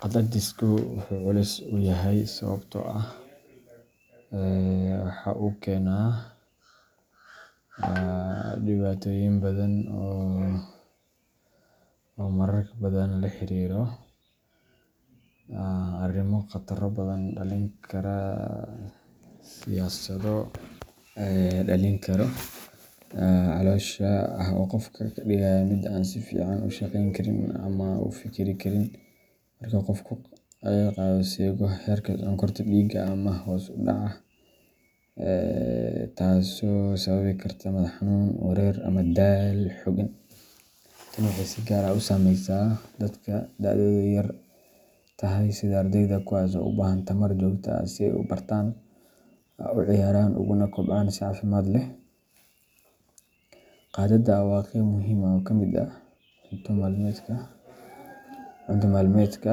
Qadaadisku wuxuu u culus yahay sababtoo ah waxa uu keenaa dareen xooggan oo gaajo, tamar darro, iyo xanuun caloosha ah oo qofka ka dhigaya mid aan si fiican u shaqayn karin ama u fikirin karin. Marka qofku qado seego, heerka sonkorta dhiigga ayaa hoos u dhacda, taasoo sababi karta madax xanuun, wareer, ama daal xooggan. Tani waxay si gaar ah u saamaysaa dadka da'doodu yar tahay, sida ardayda, kuwaas oo u baahan tamar joogto ah si ay u bartaan, u ciyaaraan, uguna kobcaan si caafimaad leh. Qadaada waa qayb muhiim ah oo ka mid ah cunto maalmeedka,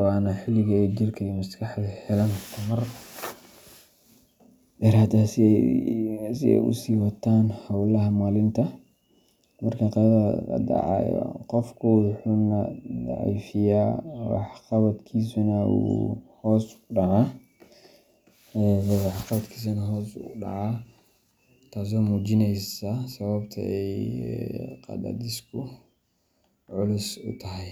waana xilliga ay jirka iyo maskaxdu helaan tamar dheeraad ah si ay u sii wataan hawlaha maalinta. Marka qadaada la dayaco, qofku wuu daciifayaa, waxqabadkiisuna wuu hoos u dhacaa, taasoo muujinaysa sababta ay qadaadisku culus u tahay.